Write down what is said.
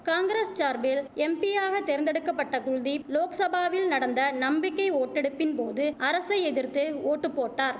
காங்கிரச் சார்பில் எம்பியாக தேர்ந்தெடுக்க பட்ட குல்தீப் லோக்சபாவில் நடந்த நம்பிக்கை ஓட்டெடுப்பின்போது அரசை எதிர்த்து ஓட்டு போட்டார்